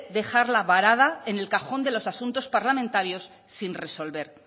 dejarla varada en el cajón de los asuntos parlamentarios sin resolver